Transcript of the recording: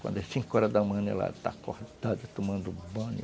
Quando é cinco horas da manhã, ela está acordada, tomando banho.